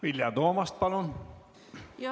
Vilja Toomast, palun!